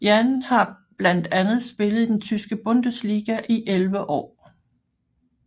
Jann har blandt andet spillet i den Tyske Bundesliga i 11 år